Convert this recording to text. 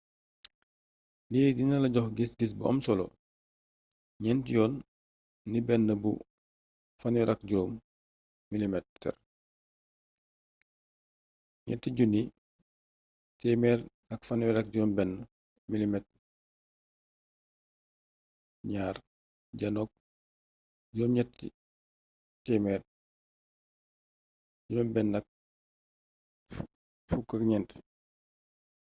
lii dina la jox gis gis bu am solo gnénti yoon ni bénn bu 35 mm 3136 mm2 janook 864